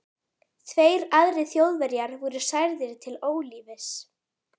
Tveir aðrir Þjóðverjar voru særðir til ólífis.